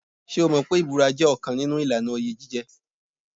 Ṣé o mọ̀ pé ìbúra jẹ́ ọ̀kan nínú ìlànà oyè jíjẹ.